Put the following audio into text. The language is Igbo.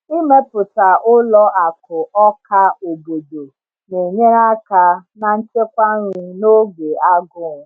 Ịmepụta ụlọ akụ ọka obodo na-enyere aka na nchekwa nri n’oge agụụ.